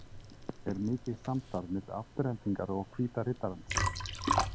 Er mikið samstarf milli Aftureldingar og Hvíta riddarans?